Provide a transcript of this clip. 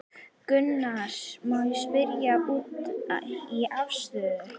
Gunnar: Má ég spyrja út í afstöðu?